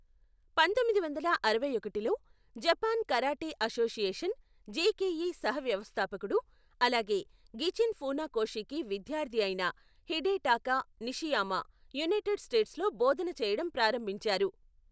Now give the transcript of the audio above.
పంతొమ్మిది వందల అరవై ఒకటిలో, జపాన్ కరాటే అసోసియేషన్, జేకేఎ సహ వ్యవస్థాపకుడు, అలాగే గిచిన్ ఫునాకోషికి విద్యార్థి అయిన హిడేటాకా నిషియామా యునైటెడ్ స్టేట్స్లో బోధన చేయడం ప్రారంభించారు.